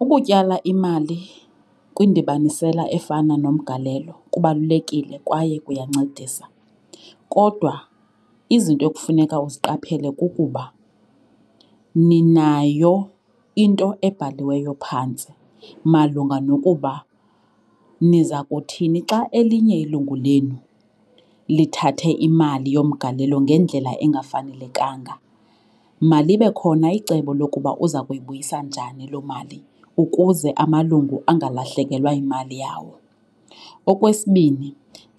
Ukutyala imali kwindibanisela efana nomgalelo kubalulekile kwaye kuyancedisa kodwa izinto ekufuneka uziqaphele kukuba ninayo into ebhaliweyo phantsi malunga nokuba niza kuthini xa elinye ilungu lenu lithathe imali yomgalelo ngendlela engafanelekanga. Malibe khona icebo lokuba uza kuyibuyisa njani loo mali ukuze amalungu angalahlekelwa yimali yawo. Okwesibini,